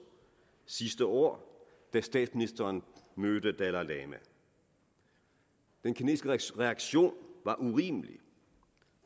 sidste år da statsministeren mødte dalai lama den kinesiske reaktion var urimelig